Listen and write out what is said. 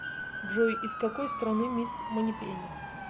джой из какой страны мисс манипени